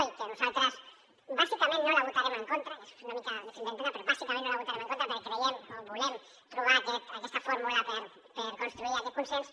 i que nosaltres bàsicament no la votarem en contra que és una mica difícil d’entendre però bàsicament no la votarem en contra perquè creiem o volem trobar aquesta fórmula per construir aquest consens